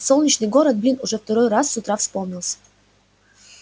солнечный город блин уже второй раз с утра вспомнился